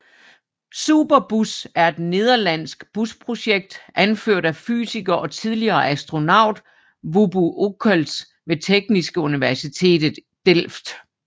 Superbus er et nederlandsk busprojekt anført af fysiker og tidligere astronaut Wubbo Ockels ved Technische Universiteit Delft